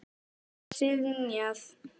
Þessari beiðni var synjað.